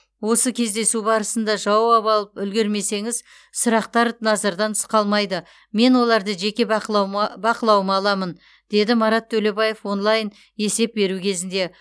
осы кездесу барысында жауап алып үлгермесеңіз сұрақтар назардан тыс қалмайды мен оларды жеке бақылауыма аламын деді марат төлебаев онлайн есеп беру кезінде